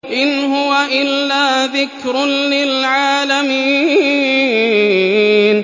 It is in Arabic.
إِنْ هُوَ إِلَّا ذِكْرٌ لِّلْعَالَمِينَ